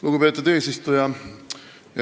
Lugupeetud eesistuja!